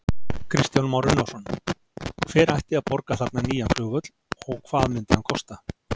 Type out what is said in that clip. Kristján Már Unnarsson: Hver ætti að borga þarna nýja flugvöll og hvað myndi hann kosta?